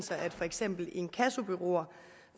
at for eksempel inkassobureauer